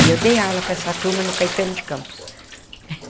E eu dei aula para essa turma no Caetano de Campos.